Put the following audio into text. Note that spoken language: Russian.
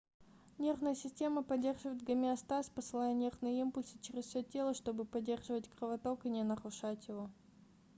нервная система поддерживает гомеостаз посылая нервные импульсы через все тело чтобы поддерживать кровоток и не нарушать его